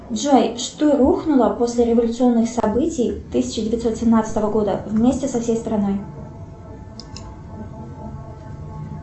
джой что рухнуло после революционных событий тысяча девятьсот семнадцатого года вместе со всей страной